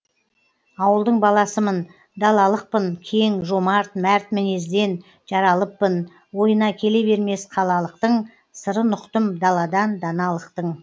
ауылдың баласымын далалықпын кең жомарт мәрт мінезден жаралыппын ойына келе бермес қалалықтың сырын ұқтым даладан даналықтың